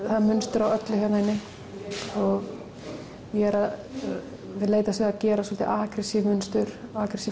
það er mynstur á öllu hérna inni og ég er að leitast við að gera svolítið mynstur og